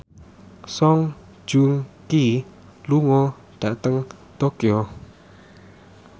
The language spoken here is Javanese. Song Joong Ki lunga dhateng Tokyo